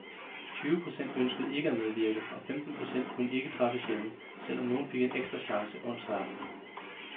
Tyve procent ønskede ikke at medvirke, og femten procent kunne ikke træffes hjemme, selv om nogle fik en ekstra chance onsdag aften.